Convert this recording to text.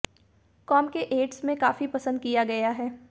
com के ads में काफी पसंद किया गया है